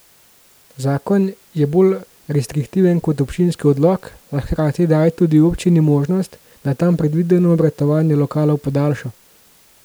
Zakon je bolj restriktiven kot občinski odlok, a hkrati daje tudi občini možnost, da tam predvideno obratovanje lokalov podaljša.